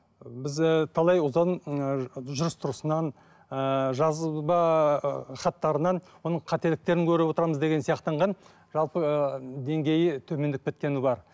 біз ыыы талай ұзын ы жүріс тұрысынан ыыы жазба ы хаттарынан оның қателіктерін көріп отырамыз деген сияқтанған жалпы ыыы деңгейі төмендеп кеткені бар